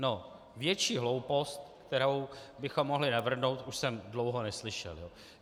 No, větší hloupost, kterou bychom mohli navrhnout, už jsem dlouho neslyšel.